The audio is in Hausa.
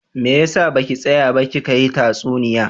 Me yasa baki tsaya ba kika hi tatsuniya?